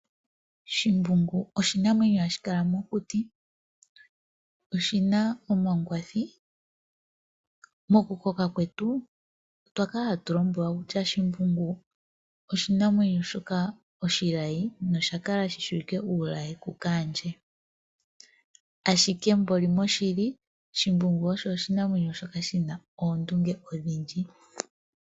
Oshimbungu oshinamwenyo ha shi kala mokuti, oshi na omangwathi, mokukoka kwetu, otwa kala ha tu lombwelwa kutya shimbungu oshinamwenyo oshilayi nosha kala hashi kotokelwa kukaandje, ashike moshili shimbungu oshinamwenyo shi na oondunge odhindji.